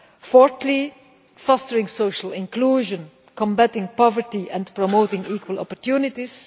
Fourthly fostering social inclusion, combating poverty and promoting equal opportunities.